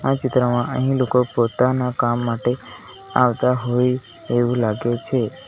આ ચિત્રમાં અહીં લોકો પોતાના કામ માટે આવતા હોય એવું લાગે છે.